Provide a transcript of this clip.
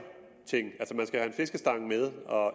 ting altså man skal have en fiskestang med og